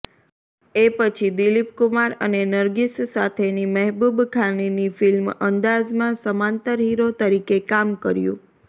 એ પછી દિલીપકુમાર અને નરગિસ સાથેની મહેબૂબ ખાનની ફ્લ્મિ અંદાઝમાં સમાંતર હીરો તરીકે કામ કર્યું